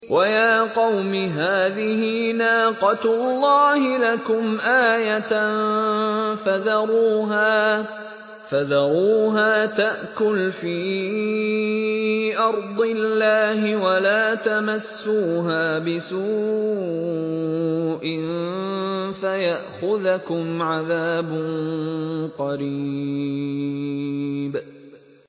وَيَا قَوْمِ هَٰذِهِ نَاقَةُ اللَّهِ لَكُمْ آيَةً فَذَرُوهَا تَأْكُلْ فِي أَرْضِ اللَّهِ وَلَا تَمَسُّوهَا بِسُوءٍ فَيَأْخُذَكُمْ عَذَابٌ قَرِيبٌ